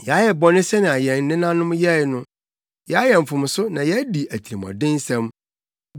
Yɛayɛ bɔne sɛnea yɛn nenanom yɛe no; yɛayɛ mfomso na yɛadi atirimɔdensɛm.